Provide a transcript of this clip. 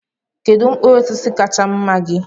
Kedu mkpụrụ osisi kacha mma gị?